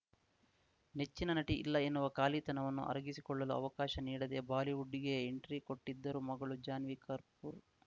ನೆಚ್ಚಿನ ನಟಿ ಇಲ್ಲ ಎನ್ನುವ ಖಾಲಿತನವನ್ನು ಅರಗಿಸಿಕೊಳ್ಳಲು ಅವಕಾಶ ನೀಡದೇ ಬಾಲಿವುಡ್‌ಗೆ ಎಂಟ್ರಿ ಕೊಟ್ಟಿದ್ದರು ಮಗಳು ಜಾನ್ವಿ ಕರ್ಪೂರ್‌